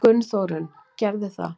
Gunnþórunn gerði það.